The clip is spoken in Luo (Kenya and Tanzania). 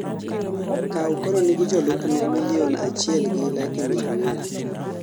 Kaw koro nigi jolupne milion achiel gi laki mia ang'wen